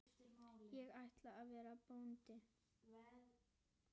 Ég ætla að verða bóndi